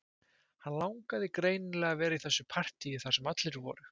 Hann langaði greinilega að vera í þessu partíi þar sem allir voru